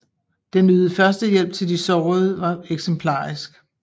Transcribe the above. Den ydede førstehjælp til de sårede var eksemplarisk